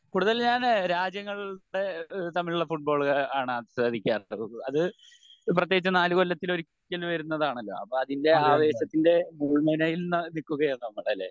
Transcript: കൂടുതൽ ഞാൻ രാജ്യങ്ങളുടെ തമ്മിലുള്ള ഈഹ് ഫുട്ബോൾ ആണ് ആസ്വദിക്കാർ ഉള്ളത്. അത് പ്രത്യേകിച്ച് നാല് കൊല്ലത്തിൽ ഒരിക്കൽ വരുന്നതാണല്ലോ അപ്പൊ അതിൻ്റെ ആവേശത്തിൻ്റെ മുൾമുനയിൽ നീക്കുകയാണ് നമ്മൾ അല്ലെ